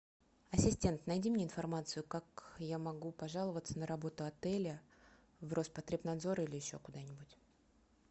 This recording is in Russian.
ассистент найди мне информацию как я могу пожаловаться на работу отеля в роспотребнадзор или еще куда нибудь